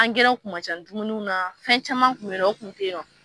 Angɛrɛ kun man ca dumuni na fɛn caman kun bɛ ye nɔ o kun ten ye nɔ.